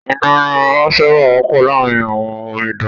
Inú rírun máa ń sábà wọ́pọ̀ láàrín àwọn omidan